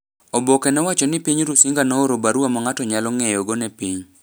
Oboke nowacho ni piny Rusinga nooro barua ma ng’ato nyalo ng’eyogo ne piny.